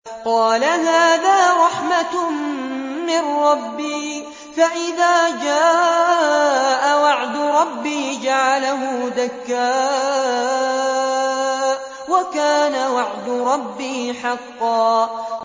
قَالَ هَٰذَا رَحْمَةٌ مِّن رَّبِّي ۖ فَإِذَا جَاءَ وَعْدُ رَبِّي جَعَلَهُ دَكَّاءَ ۖ وَكَانَ وَعْدُ رَبِّي حَقًّا